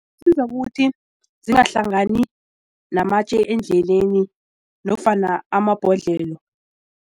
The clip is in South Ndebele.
Siza ukuthi zingahlangani namatje endleleni nofana amabhodlelo.